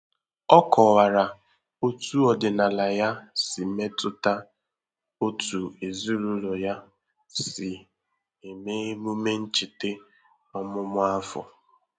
O kọwara otu ọdịnala ya si metụta otú ezinụlọ ya si eme emume ncheta ọmụmụ afọ.